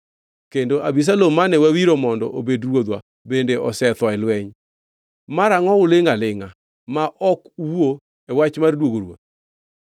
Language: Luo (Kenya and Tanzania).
kendo Abisalom mane wawiro mondo obed ruodhwa bende osetho e lweny. Mara angʼo ulingʼ alingʼa ma ok uwuo e wach mar duogo ruoth?”